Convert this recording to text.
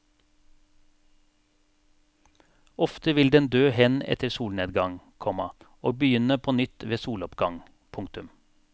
Ofte vil den dø hen etter solnedgang, komma og begynne på nytt ved soloppgang. punktum